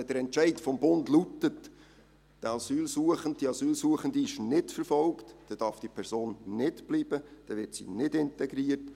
Wenn der Entscheid des Bundes lautet, der oder die Asylsuchende sei nicht verfolgt, dann darf diese Person nicht bleiben, und dann wird sie nicht integriert.